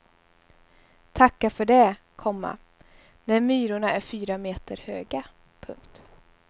Tacka för det, komma när myrorna är fyra meter höga. punkt